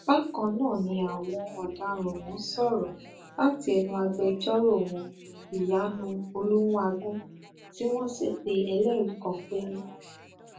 bákan náà ni àwọn ọdaràn ọhún sọrọ láti ẹnu agbẹjọrò wọn ìyanu olùmùàgun tí wọn sì pe ẹlẹrìí kan péré